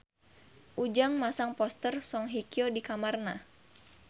Ujang masang poster Song Hye Kyo di kamarna